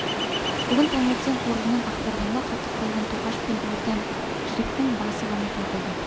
бүгін таңертең қоржынын ақтарғанда қатып қалған тоқаш пен ортан жіліктің басы ғана табылды